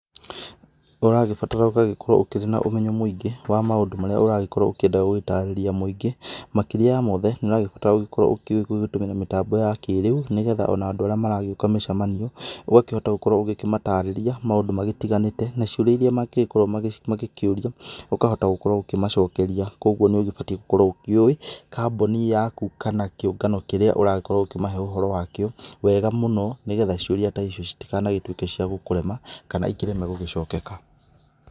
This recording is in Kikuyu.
Ũragĩbatara ũgagĩkorwo ũkĩrĩ na ũmenyo mũingĩ wa maũndũ marĩa ũragĩkorwo ũkĩenda gũgĩtarĩria mũingĩ, makĩria ya mothe, nĩ ũragĩbatara gũkorwo ũkĩũĩ gũtũmĩra mĩtambo ya kĩrĩu nĩ getha o na andũ arĩa maragĩũka mĩcamanio, ũgakĩhota gũkorwo ũgĩkĩmatarĩria maũndũ magĩtiganĩte, na ciũria iria mangĩgĩkorwo magĩkĩũria ũkahota gũkorwo ũkĩmacokeria kũguo nĩ ũgĩbatiĩ gũkorwo ũkĩũĩ kamboni yaku kana kĩũngano kĩrĩa ũragĩkorwo ũkĩmahe ũhoro wakĩo wega mũno nĩ getha ciũria ta icio citikanagĩtuĩke cia gũkũrema kana ikĩreme gũgĩcokeka.